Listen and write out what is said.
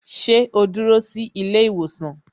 Sẹ́ ó dúró sí ilé ìwòsàn?